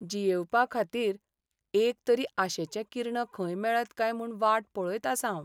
जियेवपाखातीर एक तरी आशेचें किर्ण खंय मेळत काय म्हूण वाट पळयत आसां हांव.